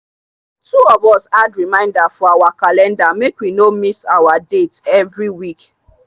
two of us add reminder for our calendar make we no miss our date every week.